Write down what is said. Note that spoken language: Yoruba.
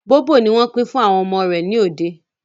Bóbò ni wọ́n pín fún àwọn ọmọ rẹ̀ ní òde